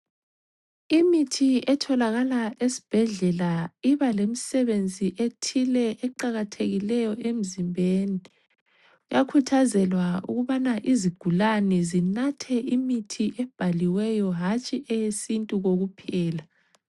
Imithi etholakala esibhedlela ibalemsebenzi ethile eqakathekileyo emzimbeni. Kuyakhuthazelwa ukubana izigulane zinathe imithi ebhaliweyo hatshi eyesintu kokuphela.